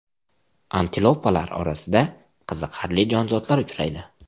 Antilopalar orasida qiziqarli jonzotlar uchraydi.